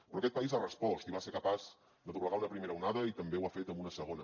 però aquest país ha respost i va ser capaç de doblegar una primera onada i també ho ha fet amb una segona